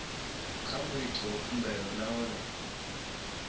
kha muiti wa khumbelo nahone